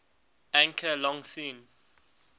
anchor long seen